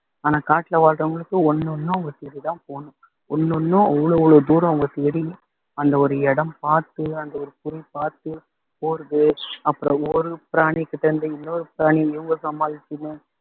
ஆனா காட்டுல வாழுறவங்களுக்கு ஒண்ணு ஒண்ணும் அவங்க தேடிதான் போகணும் ஒண்ணொண்ணும் அவ்வளோ அவ்வளோ தூரம் அவங்க தேடி அந்த ஓர் இடம் பார்த்து அந்த ஒரு பொருள் பார்த்து போறது அப்புறம் ஒரு பிராணிகிட்ட இருந்து இன்னொரு பிராணியை இவங்க சமாளிச்சுன்னு